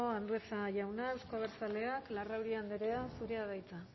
andueza jauna euzko abertzaleak larrauri andrea zurea da hitza